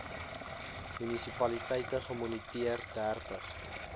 munisipaliteite gemoniteer dertig